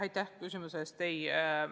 Aitäh küsimuse eest!